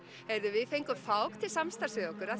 við fengum Fák til samstarfs